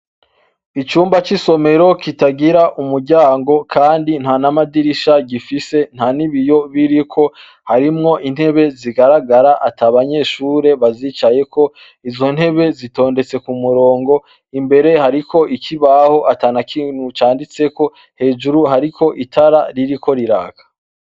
Icumba c'isomero kitagira umuryango Kandi ntana madirisha kigira, ntan'ibiyo biriko harimwo intebe zigaragara atababanyeshure bazicayeko, izo ntebe zitondetse kumurongo, imbere hariko ikibaho atanikintu canditseko, hejuru hariko itara ririko riraka.